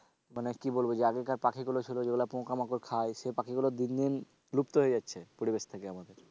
মানে কি বলবো যে আগেকার পাখিগুলো ছিল যেগুলো পোকামাকড় খায় সে পাখিগুলো দিন দিন লুপ্ত হয়ে যাচ্ছে পরিবেশ থেকে আমাদের।